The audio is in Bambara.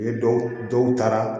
U ye dɔw dɔw taara